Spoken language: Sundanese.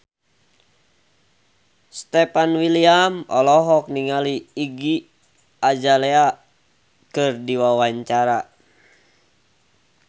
Stefan William olohok ningali Iggy Azalea keur diwawancara